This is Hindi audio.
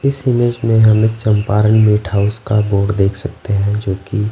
इस इमेज में हमें चंपारण मिट हाउस का बोड देख सकते है जोकि--